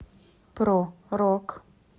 про рок